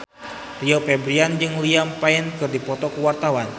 Rio Febrian jeung Liam Payne keur dipoto ku wartawan